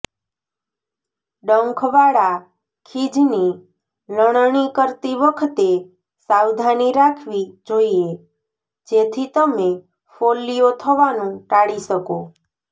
ડંખવાળા ખીજની લણણી કરતી વખતે સાવધાની રાખવી જોઈએ જેથી તમે ફોલ્લીઓ થવાનું ટાળી શકો